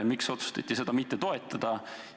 Miks otsustati seda mitte toetada?